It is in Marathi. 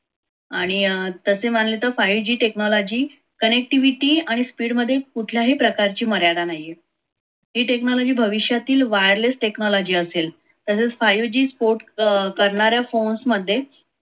आणि अं तसे मानले तर five g technology connectivity आणि speed मध्ये कुठल्याही प्रकारची मर्यादा नाहीये. हे technology भविष्यातील wireless technology असेल. तसेच five g sport करणाऱ्या phones मध्ये,